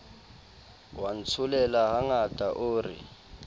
wa ntsholela hanghang o re